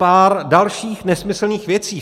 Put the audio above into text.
Pár dalších nesmyslných věcí.